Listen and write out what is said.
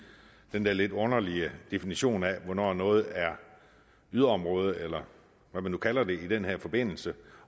den der lidt underlige definition af hvornår noget er yderområder eller hvad man kalder det i den her forbindelse